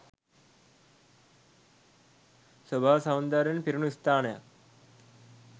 ස්වභාව සෞන්දර්යයෙන් පිරුනු ස්ථානයක්